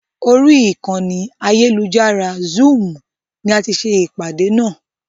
Orí ìkànnì ayélujára "zúúmù" ni á tì ṣe ìpàdé náà.